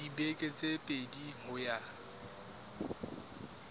dibeke tse pedi ho ya